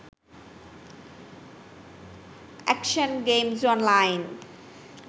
action games online